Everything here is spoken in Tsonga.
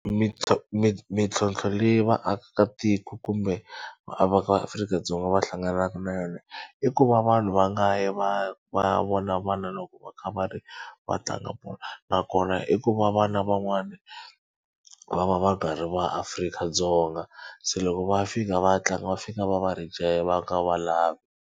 mintlhontlho leyi vaakatiko kumbe va Afrika-Dzonga va hlanganaka na yona i ku va vanhu va nga yi va va ya vona vana loko va kha va ri va tlanga bolo nakona i ku va vana van'wana va va va nga ri vaAfrika-Dzonga se loko va fika va tlanga va fika va va va nga va lavi.